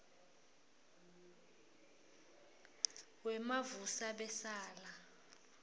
wemavusabesala